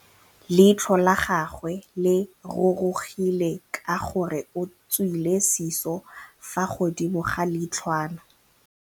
Leitlhô la gagwe le rurugile ka gore o tswile sisô fa godimo ga leitlhwana.